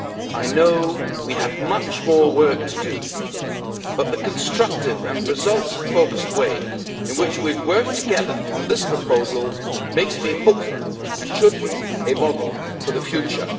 I know we have much more work to do, but the constructive and results focused way in which we have worked together on this proposal makes me hopeful and should be a model for the future.